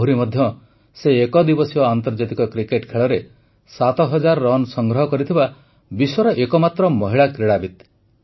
ଆହୁରି ମଧ୍ୟ ସେ ଏକଦିବସୀୟ ଆନ୍ତର୍ଜାତିକ କ୍ରିକେଟ ଖେଳରେ ୭୦୦୦ ରନ୍ ସଂଗ୍ରହ କରିଥିବା ବିଶ୍ୱର ଏକମାତ୍ର ମହିଳା କ୍ରୀଡ଼ାବିତ୍